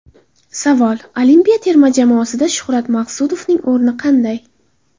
Savol: Olimpiya terma jamoasida Shuhrat Maqsudovning o‘rni qanday?